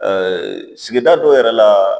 sigida dɔ yɛrɛ la